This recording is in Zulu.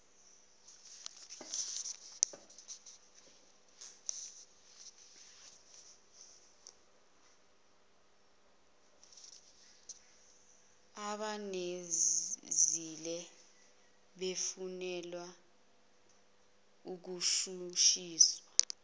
abawenzile befunelwa ukushushiswa